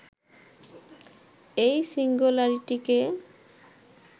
এই সিঙ্গুলারিটিকে